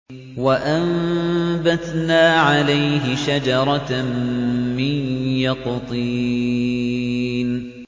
وَأَنبَتْنَا عَلَيْهِ شَجَرَةً مِّن يَقْطِينٍ